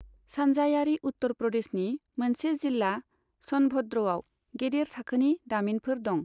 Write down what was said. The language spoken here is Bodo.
सानजायारि उत्तर प्रदेशनि मोनसे जिल्ला स'नभद्रआव गेदेर थाखोनि दामिनफोर दं।